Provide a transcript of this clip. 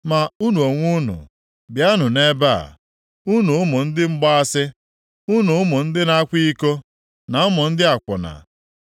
“Ma unu onwe unu, bịanụ nʼebe a, unu ụmụ ndị mgbaasị, unu ụmụ ndị na-akwa iko, na ụmụ ndị akwụna.